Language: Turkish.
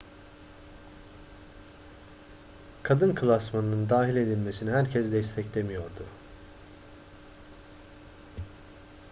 kadın klasmanının dahil edilmesini herkes desteklemiyordu